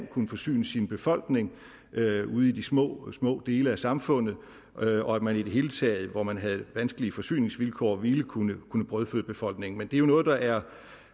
kunne forsyne sin befolkning ude i de små små dele af samfundet og at man i det hele taget hvor man havde vanskelige forsyningsvilkår ville kunne kunne brødføde befolkningen men det er jo noget der er